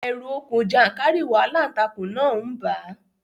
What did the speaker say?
Ẹ̀rù okùn jàńkàrìwọ̀ aláǹtakùn náà ń bà á